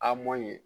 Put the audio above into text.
A ma ɲi